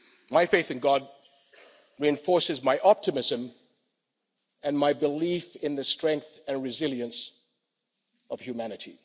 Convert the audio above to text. My faith in God reinforces my optimism and my belief in the strength and resilience of humanity.